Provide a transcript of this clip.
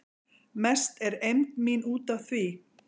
Mest er eymd mín út af því